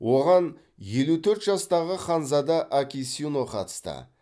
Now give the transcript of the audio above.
оған елу төрт жастағы ханзада акисино қатысты